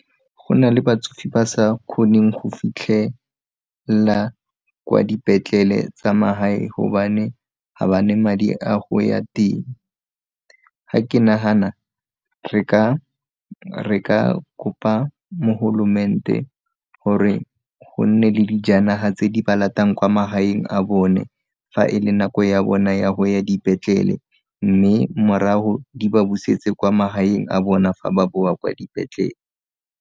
Go na le batsofe ba sa kgoneng go fitlhela kwa dipetlele tsa magae hobane ga ba ne madi a go ya teng, ga ke nagana re ka kopa mogolomente gore go nne le dijanaga tse di ba latang kwa magaeng a bone fa e le nako ya bona ya go ya dipetlele, mme morago di ba busetse kwa magaeng a bona fa ba boa kwa dipetlele.